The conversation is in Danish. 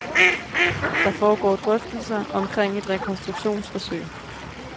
Der foregår drøftelser omkring et rekonstruktionsforsøg.